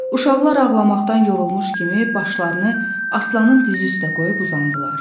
Uşaqlar ağlamaqdan yorulmuş kimi başlarını aslanın dizi üstə qoyub uzandılar.